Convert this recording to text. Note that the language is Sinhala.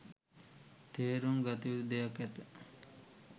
තේරුම් ගතයුතු දෙයක් ඇත